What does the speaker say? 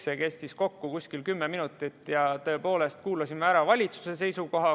See kestis kokku kuskil 10 minutit ja tõepoolest kuulasime ära valitsuse seisukoha.